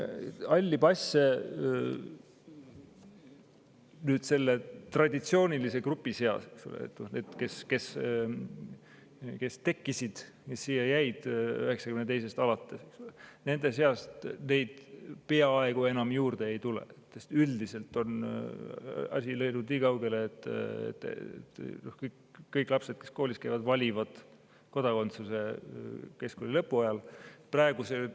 Halle passe selle traditsioonilise grupi puhul, kes siia pärast 1992. aastat jäi, peaaegu enam juurde ei tule, sest üldiselt on asi arenenud nii kaugele, et kõik lapsed, kes koolis käivad, valivad kodakondsuse keskkooli lõpu ajal.